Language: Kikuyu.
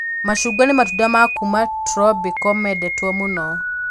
Macungwa nĩ matunda ma kuma turobiko mendetwo mũno